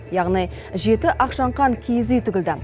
яғни жеті ақшаңқан киіз үй тігілді